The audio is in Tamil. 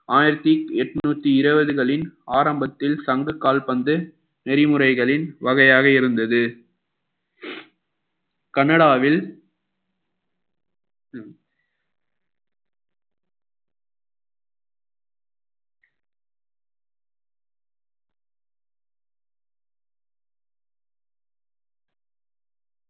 ஆயிரத்தி எட்நூத்தி இருபதுகளின் ஆரம்பத்தில் சங்க கால்பந்து நெறிமுறைகளின் வகையாக இருந்தது கனடாவில்